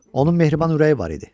Onun mehriban ürəyi var idi.